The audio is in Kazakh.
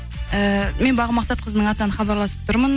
ііі мен бағым мақсатқызының атынан хабарласып тұрмын